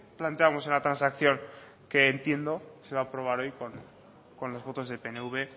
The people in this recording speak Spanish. planteábamos en la transacción que entiendo que se va a aprobar hoy con los votos del pnv